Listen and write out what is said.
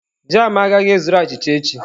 Jam agaghị ezuru achịcha echi.